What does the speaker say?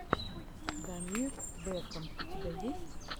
дамир бэкам у тебя есть